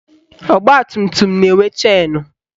Ọgbatumtum na-enwe chenu